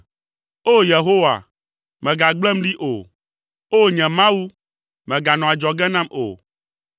O! Yehowa, mègagblẽm ɖi o, O! Nye Mawu, mèganɔ adzɔge nam o.